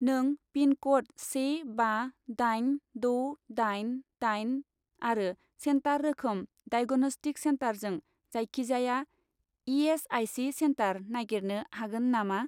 नों पिनक'ड से बा दाइन द' दाइन दाइन आरो सेन्टार रोखोम डाइग'नस्टिक सेन्टारजों जायखिजाया इ.एस.आइ.सि. सेन्टार नागिरनो हागोन नामा?